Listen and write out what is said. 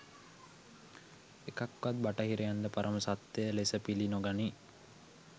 එකක් වත් බටහිරයන්ද පරම සත්‍ය ලෙස පිලි නොගනී